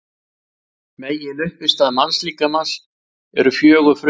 Meginuppistaða mannslíkamans eru fjögur frumefni.